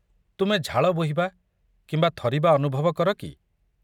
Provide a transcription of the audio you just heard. ତୁମେ ଝାଳ ବୋହିବା କିମ୍ବା ଥରିବା ଅନୁଭବ କର କି?